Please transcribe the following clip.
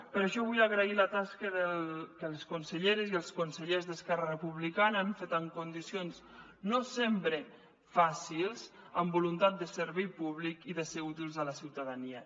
per això vull agrair la tasca que les conselleres i els consellers d’esquerra republicana han fet en condicions no sempre fàcils amb voluntat de servei públic i de ser útils a la ciutadania